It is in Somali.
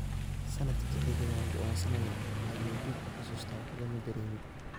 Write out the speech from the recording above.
Sannadkii xigay waan go'doonsanaa, ayuu dib u xusuustaa, "waxba ma dareemin.